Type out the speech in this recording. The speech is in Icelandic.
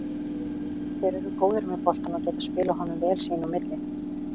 Þeir eru góðir með boltann og geta spilað honum vel sín á milli.